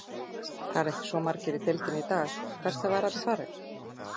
Það eru ekki svo margir í deildinni í dag, hvert hafa þeir allir farið?